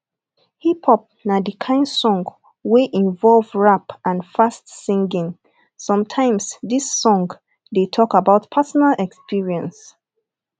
hip hop na di kind song wey involve rap and fast singing sometimes dis song dey talk about personal experience